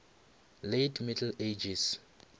late middle ages